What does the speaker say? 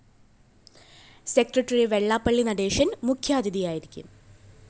secretary Vellappally Natesan‍ മുഖ്യാതിഥിയായിരിക്കും